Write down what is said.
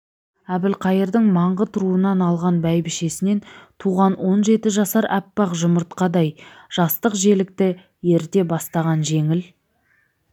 әбілқайырдың маңғыт руынан алған бәйбішесінен туған он жеті жасар аппақ жұмыртқадай жастық желікті ерте бастаған жеңіл